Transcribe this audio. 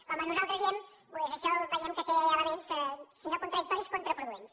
com nosaltres diem doncs això veiem que té elements si no contradictoris contraproduents